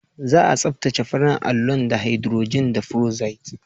Za a tsaftace farin allon da hidrojin feroxide.